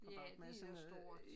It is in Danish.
Ja det er stort